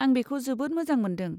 आं बेखौ जोबोद मोजां मोनदों।